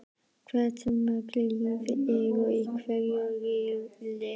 Hversu mörg lið eru í hverjum riðli?